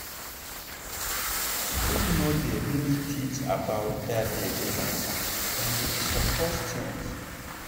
school no dey really teach about that belle matter and e suppose change.